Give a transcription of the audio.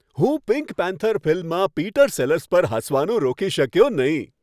હું pink panther ફિલ્મમાં Peter Sellers પર હસવાનું રોકી શક્યો નહીં.